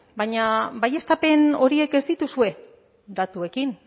baina baieztapen horiek ez dituzue datuekin